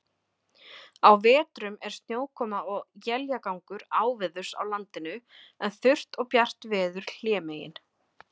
Á vetrum er snjókoma og éljagangur áveðurs á landinu, en þurrt og bjart veður hlémegin.